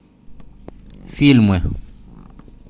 фильмы